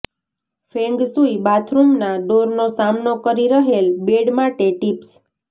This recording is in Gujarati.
ફેંગ શુઇ બાથરૂમના ડોરનો સામનો કરી રહેલ બેડ માટે ટિપ્સ